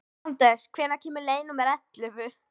Anders, hvenær kemur leið númer ellefu?